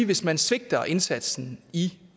hvis man svigter indsatsen i